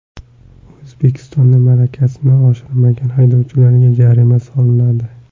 O‘zbekistonda malakasini oshirmagan haydovchilarga jarima solinadi.